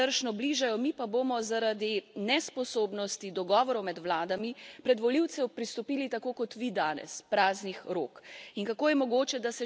In volitve se nezadržno bližajo, mi pa bomo zaradi nesposobnosti dogovorov med vladami pred volivce pristopili tako kot vi danes praznih rok.